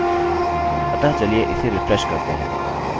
अतः चलिए इसे रिफ्रेशrefresh करते हैं